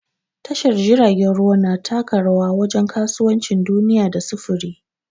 Tashar jiragen ruwa na taka rawa wajen kasuwancin duniya da sufuri.